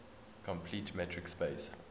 complete metric space